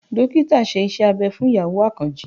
Dókítà ṣe Iṣẹ́ abẹ fún ìyàwó Àkànjí